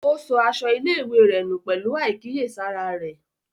Ó sọ aṣọ ilé-ìwé rẹ nù pẹ̀lú àìkíyèsára rẹ̀.